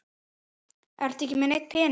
Ertu ekki með neinn pening?